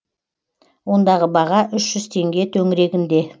ондағы баға үш жүз теңге төңірегінде